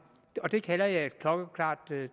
det kalder jeg et klokkeklart